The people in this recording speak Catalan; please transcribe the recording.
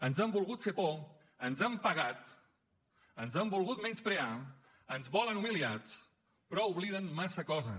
ens han volgut fer por ens han pegat ens han volgut menysprear ens volen humiliats però obliden massa coses